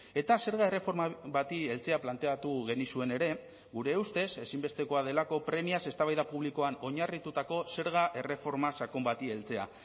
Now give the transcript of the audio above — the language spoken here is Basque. eta zerga erreforma bati heltzea planteatu genizuen ere gure ustez ezinbestekoa delako premiaz eztabaida publikoan oinarritutako zerga erreforma sakon bati heltzea